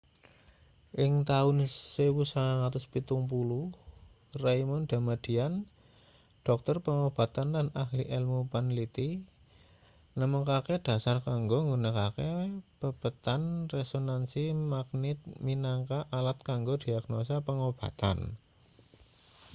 ing taun 1970 raymond damadian dhokter pangobatan lan ahli elmu panliti nemokake dhasar kanggo nggunakake pepethan resonansi maknit minangka alat kanggo diagnosa pangobatan